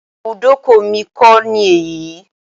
Ibùdókọ̀ mi kọ́ ni èyí.